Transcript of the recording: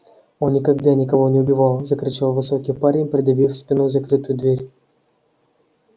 он никогда никого не убивал закричал высокий парень придавив спиной закрытую дверь